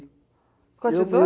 Com a tesoura?